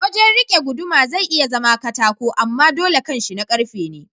Wajan rike guduma zai iya zama katako amma dole kanshi na karfe ne.